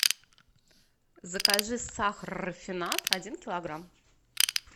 закажи сахар рафинад один килограмм